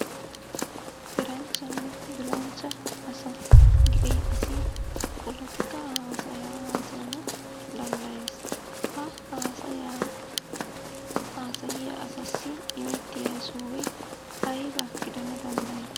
Eranchchanne bilanchcha asa gidida asi polotikkaa haasaya haasayana danddayees. Ha haasayaa haasayiya asassi immettiya sohoy aybba gidana danddayii?